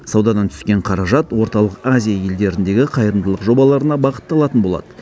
саудадан түскен қаражат орталық азия елдеріндегі қайырымдылық жобаларына бағытталатын болады